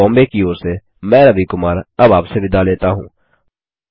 IIT Bombay की ओर से मैं रवि कुमार अब आपसे विदा लेता हूँ